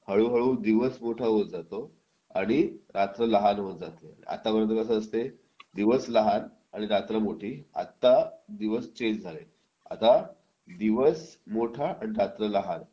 हळूहळू दिवस मोठा होत जातो आणि रात्र लहान होत जाते आतापर्यंत कसं असतं दिवस लहान आणि रात्र मोठी आत्ता दिवस चेंज झाले आता दिवस मोठा आणि रात्र लहान